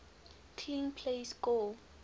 clean plays score